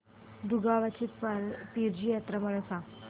दुगावची पीराची यात्रा मला सांग